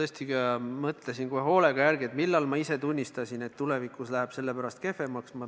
Esiteks, ma mõtlesin kohe hoolega järele, millal ma ise tunnistasin, et tulevikus läheb selle pärast kehvemaks.